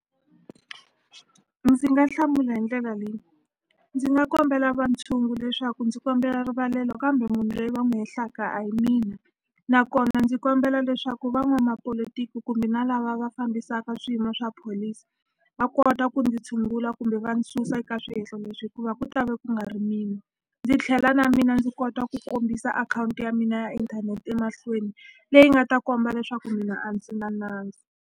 Ndzi nga hlamula hi ndlela leyi ndzi nga kombela va ntshungu leswaku ndzi kombela rivalelo kambe munhu loyi va n'wi hehlaka a hi mina nakona ndzi kombela leswaku van'wamapolotiki kumbe na lava va fambisaka swiyimo swa pholisi va kota ku ndzi tshungula kumbe va susa eka swihehlo leswi hikuva ku ta ve ku nga ri mina ndzi tlhela na mina ndzi kota ku kombisa akhawunti ya mina ya inthanete emahlweni leyi nga ta komba leswaku mina a ndzi na nandzu.